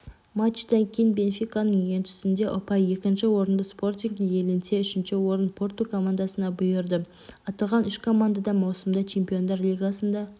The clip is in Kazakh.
матчтан кейін бенфиканың еншісінде ұпай екінші орынды спортинг иеленсе үшінші орын порту командасына бұйырды аталған үш команда да маусымда чемпиондар лигасында